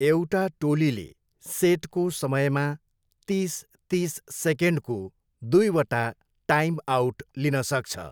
एउटा टोलीले सेटको समयमा तिस, तिस सेकेन्डको दुईवटा टाइम, आउट लिन सक्छ।